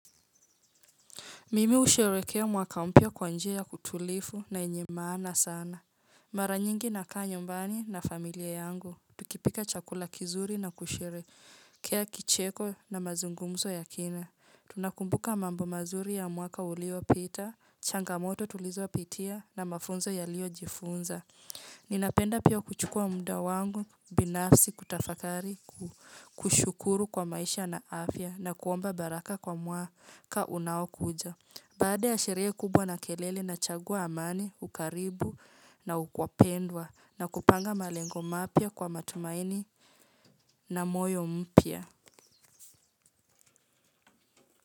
Mimi husherekea mwaka mpya kwa njia ya utulivu na yenye maana sana. Mara nyingi nakaa nyumbani na familia yangu. Tukipika chakula kizuri na kusherehekea kicheko na mazungumzo ya kina. Tunakumbuka mambo mazuri ya mwaka uliopita, changamoto tulizopitia na mafunzo yaliyojifunza. Ninapenda pia kuchukua muda wangu binafsi kutafakari kushukuru kwa maisha na afya na kuomba baraka kwa mwaka unaokuja. Baada ya sherehe kubwa na kelele nachagua amani, ukaribu na ukwapendwa na kupanga malengo mapya kwa matumaini na moyo mpya.